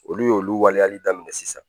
Olu y'olu waleyali daminɛ sisan